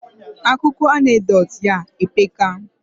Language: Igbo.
Akuko anecdotes ya epeka